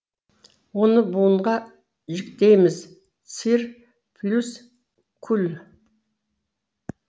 оны буынға жіктейміз цир плюс куль